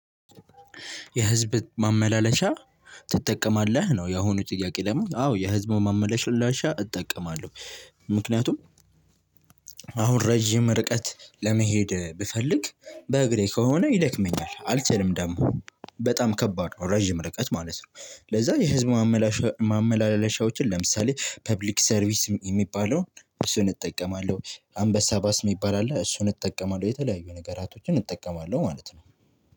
የህዝብ ማመላለሻ ትጠቀማለህ ነው የአሁኑ ጥያቄ? ደግሞ አዎ የህዝብ ማመላለሻ እጠቀማለሁ። ምክንያቱም አሁን ረጅም ርቀት ለመሄድ ብፈልግ በእግሬ ከሆነ ይደክመኛል አልችልም። ደግሞ በጣም ከባድ ነው ረጅም ርቀት ማለት ነው። ለዛ የህዝብ ማመላለሻ ማመላለሻዎችን ለምሳሌ ፐብሊክ ሰርቪስ የሚባለውን እሱን እጠቀማለሁ አንበሳ ባስ የሚባል አለ እሱን እጠቀማለሁ የተለያዩ ነገራቶችን እጠቀማለሁ ማለት ነው።